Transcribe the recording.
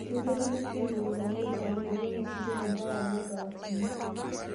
Keilepunye generetani ile engolon ositima mpaka megawatts uni